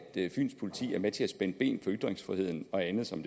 fyns politi er med til at spænde ben for ytringsfriheden og andet som